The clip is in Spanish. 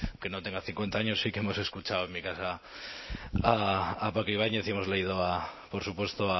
quien no tenga cincuenta años sí que hemos escuchado en mi casa a paco ibáñez y hemos leído a por supuesto